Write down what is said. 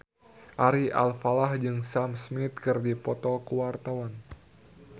Ari Alfalah jeung Sam Smith keur dipoto ku wartawan